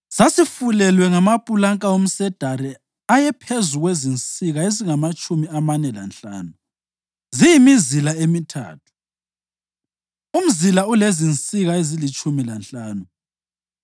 Sasifulelwe ngamapulanka omsedari ayephezu kwezinsika ezingamatshumi amane lanhlanu, ziyimizila emithathu, umzila ulezinsika ezilitshumi lanhlanu.